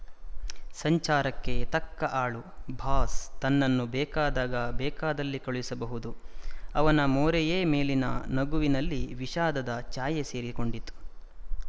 ಸಂಚಾರಕ್ಕೆ ತಕ್ಕ ಆಳು ಬಾಸ್ ತನ್ನನ್ನು ಬೇಕಾದಾಗ ಬೇಕಾದಲ್ಲಿ ಕಳಿಸಬಹುದು ಅವನ ಮೋರೆಯ ಮೇಲಿನ ನಗುವಿನಲ್ಲಿ ವಿಷಾದದ ಛಾಯೆ ಸೇರಿಕೊಂಡಿತು